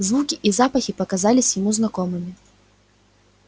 звуки и запахи показались ему знакомыми